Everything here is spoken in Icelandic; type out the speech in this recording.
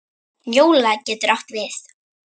Njóla getur átt við